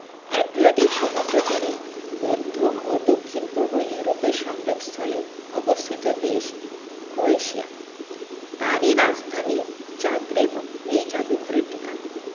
Adriatic সমুদ্র তীরে মধ্য ও দক্ষিণ পূর্ব ইউরোপের সংযোগ স্থলে অবস্থিত দেশ ক্রোয়েশিয়া তারই রাজধানী জাগরেব এই জাদুঘরের ঠিকানা